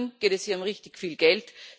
Immerhin geht es hier um richtig viel Geld.